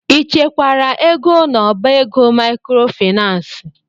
Ị chekwara ego n'ọbá ego maịkrofaịnans?